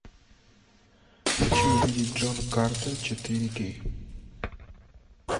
хочу увидеть джон картер четыре кей